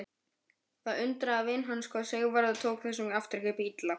Það undraði vin hans hvað Sigvarður tók þessum afturkipp illa.